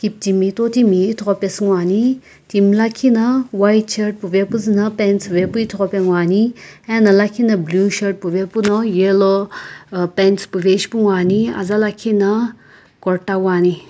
timi totimi ithughu pesu ngoani timi lakhi na white shirt puve puzü na pants puve puzü ithughu pesu ngoani ena blue shirt puve puno yellow uh pants puve ishipu ngoani aza lakhi no kurta wuani.